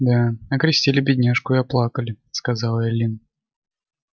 да окрестили бедняжку и оплакали сказала эллин